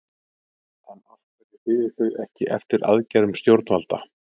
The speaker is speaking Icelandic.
En af hverju biðu þau ekki eftir aðgerðum stjórnvalda?